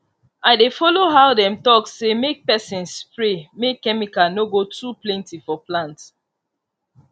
i dey follow how dem talk say make person spray make chemical no go too plenty for plant